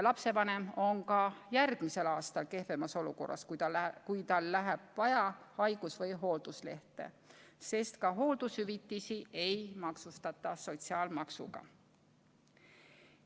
Lapsevanem on ka järgmisel aastal kehvemas olukorras, kui tal läheb vaja haigus- või hoolduslehte, sest ka hooldushüvitisi ei maksustata sotsiaalmaksuga.